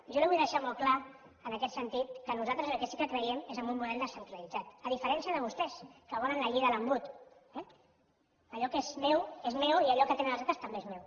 jo li vull deixar molt clar en aquest sentit que nosaltres en el que sí que creiem és en un model descentralitzat a diferència de vostès que volen la llei de l’embut eh allò que és meu és meu i allò que tenen els altres també és meu